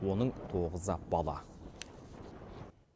оның тоғызы бала